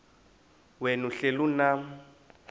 wena uhlel unam